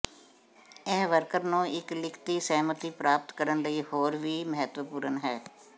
ਇਹ ਵਰਕਰ ਨੂੰ ਇੱਕ ਲਿਖਤੀ ਸਹਿਮਤੀ ਪ੍ਰਾਪਤ ਕਰਨ ਲਈ ਹੋਰ ਵੀ ਮਹੱਤਵਪੂਰਨ ਹੈ